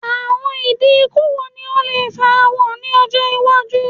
Awọn idi iku wo ni o le farahan ni ọjọ iwaju?